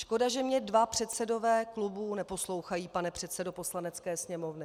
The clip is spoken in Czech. Škoda, že mně dva předsedové klubů neposlouchají, pane předsedo Poslanecké sněmovny.